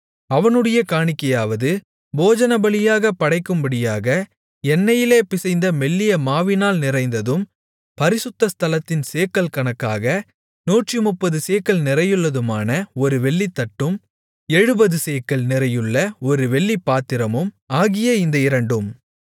அவனுடைய காணிக்கையாவது போஜனபலியாகப் படைக்கும்படியாக எண்ணெயிலே பிசைந்த மெல்லிய மாவினால் நிறைந்ததும் பரிசுத்த ஸ்தலத்தின் சேக்கல் கணக்காக நூற்றுமுப்பது சேக்கல் நிறையுள்ளதுமான ஒரு வெள்ளித்தட்டும் எழுபது சேக்கல் நிறையுள்ள ஒரு வெள்ளிப்பாத்திரமும் ஆகிய இந்த இரண்டும்